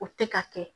O tɛ ka kɛ